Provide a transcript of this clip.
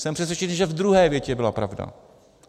Jsem přesvědčený, že v druhé větě byla pravda.